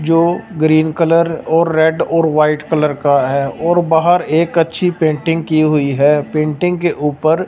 जो green colour और red और वाइट कलर का है और बाहर एक अच्छी पेंटिंग की हुई है पेंटिंग के ऊपर--